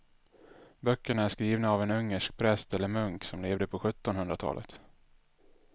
Böckerna är skrivna av en ungersk präst eller munk som levde på sjuttonhundratalet.